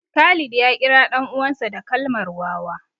Khalid ya kira ɗan uwansa da kalmar wawa